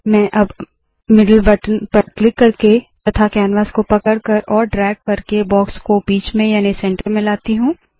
मैं अब मिडल buttonबीच के बटन पर क्लिक करके तथा कैनवास को पकड़कर और ड्रैग करके बॉक्स को बीच में याने सेंटर में लाती हूँ